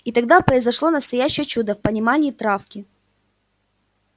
и тогда произошло настоящее чудо в понимании травки